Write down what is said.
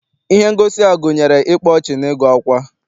Ihe ngosi a gụnyere ịkpa ọchị na ịgụ akwa.